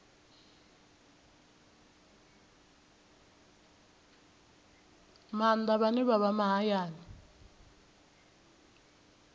maanḓa vhane vha vha mahayani